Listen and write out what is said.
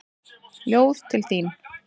Ljóð til þín.